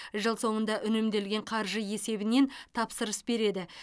жыл соңында үнемделген қаржы есебінен тапсырыс береді